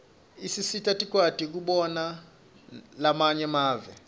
isisita sikwati kubona lamanye mave